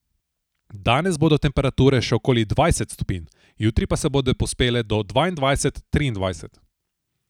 Danes bodo temperature še okoli dvajset stopinj, jutri pa se bodo povzpele do dvaindvajset, triindvajset.